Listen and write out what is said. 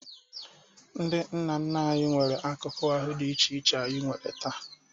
Ndị nna nna anyị nwere akụkụ ahụ dị iche iche anyị nwere taa.